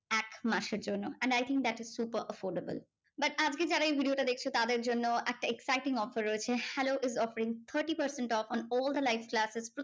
এক মাসের জন্য and I think that is super affordable but আজকে যারা এই video টা দেখছো তাদের জন্য একটা exciting offer রয়েছে hello is offering thirty percent off on all the live classes